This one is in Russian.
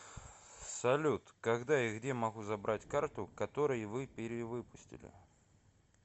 салют когда и где могу забрать карту который вы перевыпустили